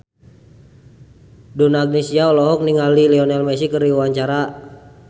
Donna Agnesia olohok ningali Lionel Messi keur diwawancara